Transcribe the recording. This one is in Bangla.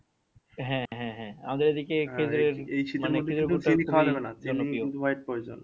হ্যাঁ হ্যাঁ হ্যাঁ আমাদের এদিকে